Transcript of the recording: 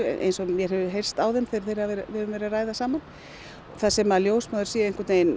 eins og mér hefur heyrst á þeim þegar við höfum verið að ræða saman þar sem ljósmæður séu